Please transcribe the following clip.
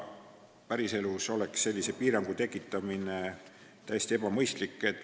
Päriselus oleks sellise piirangu tekitamine täiesti ebamõistlik.